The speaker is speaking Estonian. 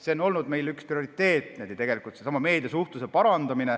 See on olnud meie üks prioriteete, seesama meediasuhtluse parandamine.